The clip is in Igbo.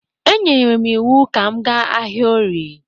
E nyere m iwu ka m gaa ahịa orie!